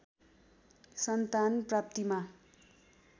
सन्तान प्राप्तिमा